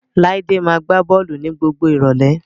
Láídé máa gbá bọ́ọ̀lù ní gbogbo ìrọ̀lẹ́